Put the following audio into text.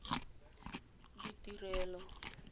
ditirelo